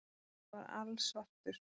Hann var alsvartur.